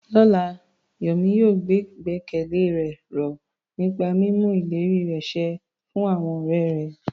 Lọ́la, Yemi yóò gbé ìgbẹ́kẹ̀lé ró nípa mímú ìlérí rẹ̀ ṣẹ fún àwọn ọ̀rẹ́ rẹ̀.